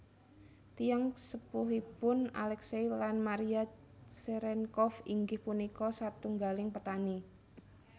Tiyang sepuhipun Aleksei lan Mariya Cerenkov inggih punika satunggaling petani